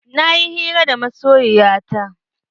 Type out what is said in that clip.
Na yi hira da masoyiya ta.